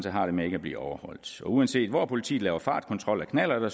har det med ikke at blive overholdt uanset hvor politiet laver fartkontrol af knallerter